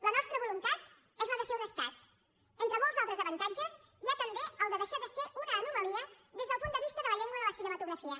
la nostra voluntat és la de ser un estat entre molts altres avantatges hi ha també el de deixar de ser una anomalia des del punt de vista de la llengua de la cinematografia